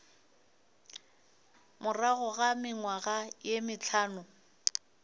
morago ga mengwaga ye mehlano